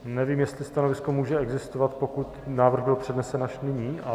Nevím, jestli stanovisko může existovat, pokud návrh byl přednesen až nyní.